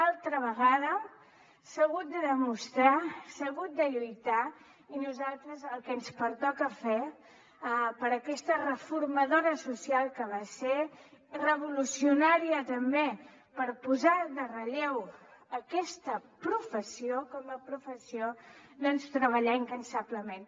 altra vegada s’ha hagut de demostrar s’ha hagut de lluitar i a nosaltres el que ens pertoca fer per a aquesta reformadora social que va ser revolucionària també per posar en relleu aquesta professió com a professió doncs treballar incansablement